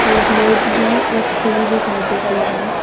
और मैज भी रखी हुई दिखाई देती है।